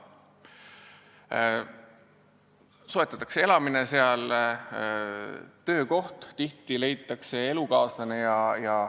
Seal soetatakse elamine, töökoht, tihti leitakse elukaaslane.